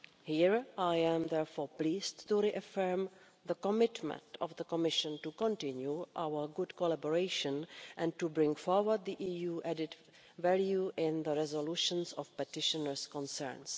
Here I am therefore pleased to reaffirm the commitment of the Commission to continue our good collaboration and to bring forward the EU added value in the resolutions of petitioners' concerns.